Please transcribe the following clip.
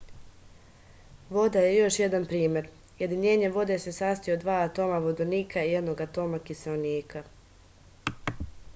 voda je još jedan primer jedinjenje vode se sastoji od dva atoma vodonika i jednog atoma kiseonika